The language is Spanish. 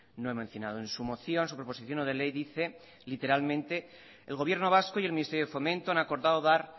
no he mencionado en su moción su proposición no de ley dice literalmente el gobierno vasco y el ministerio de fomento han acordado dar